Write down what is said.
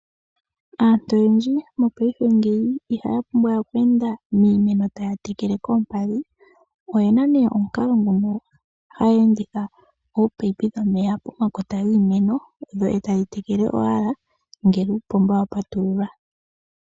Aantu oyendji mopaife ihaya pumbwawe okweenda miimeno taya tekele koompadhi. Oye na omukalo ngono haya enditha oopayipi dhomeya pomakota giimeno dho tadhi tekele ngele uupomba wa patululwa.